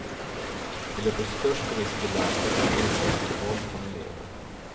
De löper störst risk i landet att bli utsatta för våld från elever.